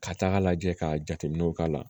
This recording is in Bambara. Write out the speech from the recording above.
Ka taaga lajɛ ka jateminɛw k'a la